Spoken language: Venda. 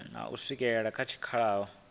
na u swikela kha tshikhala